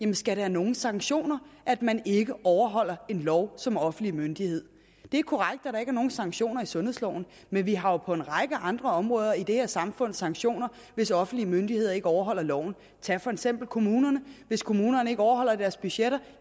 det skal have nogle sanktioner at man ikke overholder en lov som offentlig myndighed det er korrekt at der ikke er nogen sanktioner i sundhedsloven men vi har jo på en række andre områder i det her samfund sanktioner hvis offentlige myndigheder ikke overholder loven tag for eksempel kommunerne hvis kommunerne ikke overholder deres budgetter